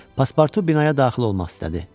Paspartu binaya daxil olmaq istədi.